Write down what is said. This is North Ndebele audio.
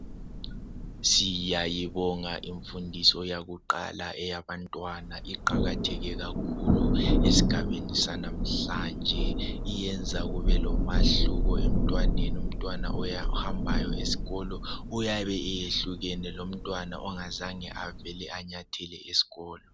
Siyayibonga imfundiso yakuqala eyabantwana, iqakathekile kakhulu esigabeni sanamhlanje. Yenza kubelomahluko emtwaneni. Umtwana ohambayo esikolo uyabe eyehlukene lomtwana ongazange avele anyathele esikolo.